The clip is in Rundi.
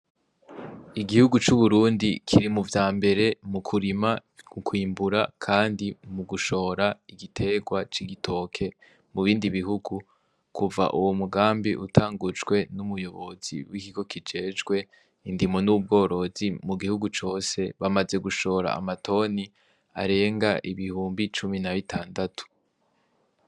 Igihugu c'uburundi kiri mu vya mbere mu kurima u kwimbura, kandi mu gushora igitegwa c'igitoke mu bindi bihugu kuva uwo mugambi utangujwe n'umuyobozi w'ikiko kijejwe indimo n'ubworozi mu gihugu cose bamaze gushora amatoni arenga ibihumbi cumi na b'itandatu.